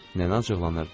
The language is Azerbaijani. Nənə acıqlanırdı.